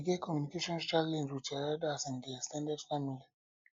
you dey get communication challenge with your elders in di ex ten ded family